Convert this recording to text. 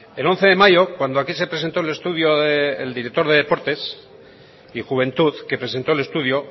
el once de mayo cuando aquí se presentó el director de deportes y juventud que presentó el estudio